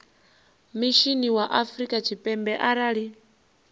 mishinini wa afrika tshipembe arali